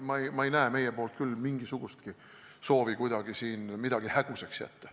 Ma ei näe, et meil oleks mingisugustki soovi siin kuidagi midagi hägusaks jätta.